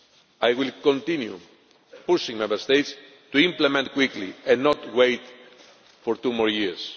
I will continue pushing Member States to implement this quickly and not wait for two more years.